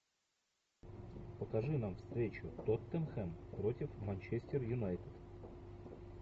покажи нам встречу тоттенхэм против манчестер юнайтед